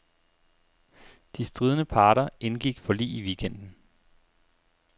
De stridende parter indgik forlig i weekenden.